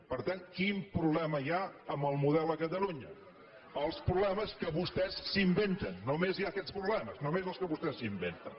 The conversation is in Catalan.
per tant quin problema hi ha amb el model a catalunya els problemes que vostès s’inventen només hi ha aquests problemes només els que vostès s’inventen